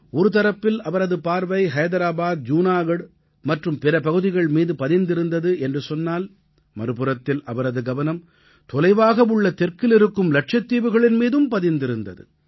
ஒரு தரப்பில் அவரது பார்வை ஹைதராபாத் ஜூனாகட் மற்றும் பிற பகுதிகள் மீது பதிந்திருந்தது என்று சொன்னால் மறுபுறத்தில் அவரது கவனம் தொலைவாக உள்ள தெற்கில் இருக்கும் லட்சத்தீவுகளின் மீதும் பதிந்திருந்தது